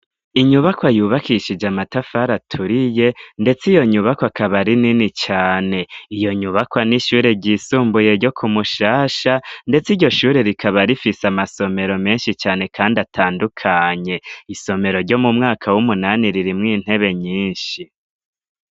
Inyubako ayubakishije amatafara aturiye, ndetse iyo nyubako akabari nini cane iyo nyubakwa n'ishure ryisumbuye ryo kumushasha, ndetse iryo shure rikaba rifise amasomero menshi cane, kandi atandukanye isomero ryo mu mwaka w'umunani ririmwo intebe nyinshi.